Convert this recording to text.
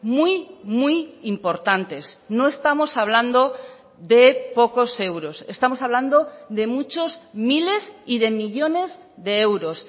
muy muy importantes no estamos hablando de pocos euros estamos hablando de muchos miles y de millónes de euros